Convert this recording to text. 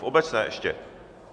V obecné ještě?